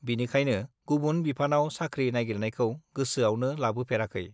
बिनिखायनो गुबुन बिफानाव साख्रि नाइगिरनायखौ गोसोआवनो लाबोफेराखै।